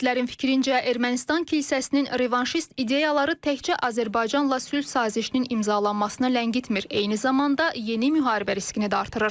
Ekspertlərin fikrincə, Ermənistan kilsəsinin revanşist ideyaları təkcə Azərbaycanla sülh sazişinin imzalanmasını ləngitmir, eyni zamanda yeni müharibə riskini də artırır.